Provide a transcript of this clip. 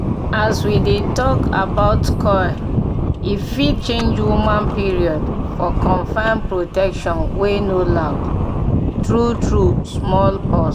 as we dey talk about coil e fit change woman period -for confirmed protection wey no loud. true true small pause